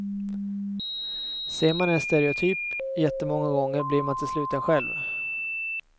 Ser man en stereotyp jättemånga gånger blir man till slut en, själv.